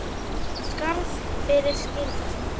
Skarð fyrir skildi